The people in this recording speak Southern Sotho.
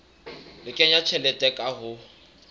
le kenya tjhelete ka ho